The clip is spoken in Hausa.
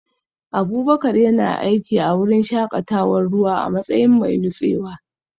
Abubakar yana aiki a wurin shakatawar ruwa a matsayin mai nutsewa